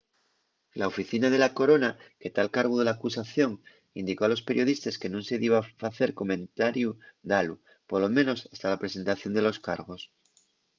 la oficina de la corona que ta al cargu de l’acusación indicó a los periodistes que nun se diba facer comentariu dalu polo menos hasta la presentación de los cargos